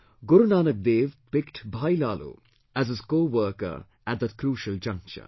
Guru Nanak Dev picked Bhai Laalo, as his coworker at that crucial juncture